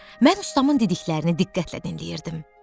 Mən ustamın dediklərini diqqətlə dinləyirdim.